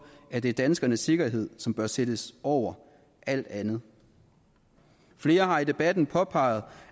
at det er danskernes sikkerhed som bør sættes over alt andet flere har i debatten påpeget